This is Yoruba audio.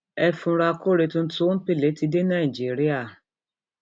ẹ fura kore tuntun omple ti dé nàìjíríà